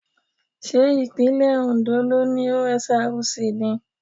Ṣé ìpínlẹ̀ Ondo ló ni OSRC ni?